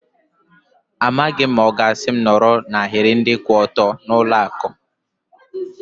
Amaghị m ma ọ ga-asị m nọrọ n'ahiri ndị kwụ ọtọ n'ụlọ akụ.